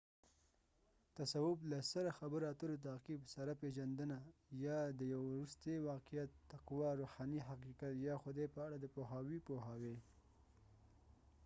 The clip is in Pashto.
تصوف له سره خبرو اترو تعقیب سره پیژندنه یا د یو وروستي واقعیت تقوی روحاني حقیقت یا خدای په اړه د پوهاوي پوهاوی